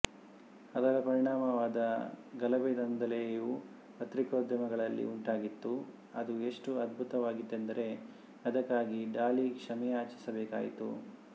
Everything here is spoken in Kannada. ಅದರ ಪರಿಣಾಮವಾದ ಗಲಭೆದಾಂಧಲೆಯು ಪತ್ರಿಕೋದ್ಯಮಗಳಲ್ಲಿ ಉಂಟಾಗಿತ್ತು ಅದು ಎಷ್ಟು ಅಧ್ಬುತವಾಗಿತ್ತೆಂದರೆ ಅದಕ್ಕಾಗಿ ಡಾಲಿ ಕ್ಷಮೆಯಾಚಿಸಬೇಕಾಯಿತು